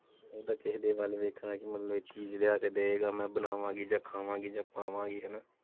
ਓਦਾਂ ਕਿਸੇ ਦੇ ਵੱਲ ਵੇਖਣਾ ਕਿ ਮਤਲਬ ਇਹ ਚੀਜ਼ ਲਿਆ ਕੇ ਦਏਗਾ ਮੈਂ ਬਣਾਵਾਂਗੀ ਜਾਂ ਖਾਵਾਂਗੀ ਜਾਂ ਪਾਵਾਂਗੀ ਹੈਨਾ?